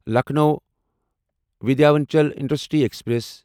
Lucknow Vindhyachal intercity express